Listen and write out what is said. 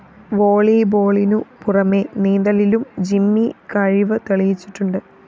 വോളീബോളിനു പുറമെ നീന്തലിലും ജിമ്മി കഴിവ് തെളിയിച്ചിട്ടുണ്ട്